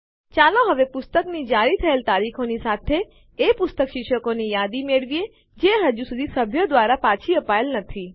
ચાલો હવે પુસ્તકની જારી થયેલ તારીખોની સાથે એ પુસ્તક શીર્ષકોની યાદી મેળવીએ જે હજુ સુધી સભ્યો દ્વારા પાછી અપાયેલ નથી